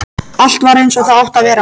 Allt var eins og það átti að vera.